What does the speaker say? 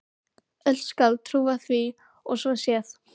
Öll skáld trúa því að svo sé.